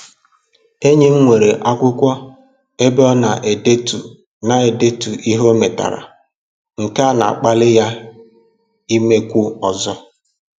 Enyi m nwere akwụkwọ ebe ọ na-edetu na-edetu ihe o metara, nke a na-akpali ya imekwu ọzọ